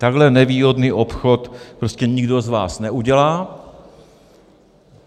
Takhle nevýhodný obchod prostě nikdo z vás neudělá.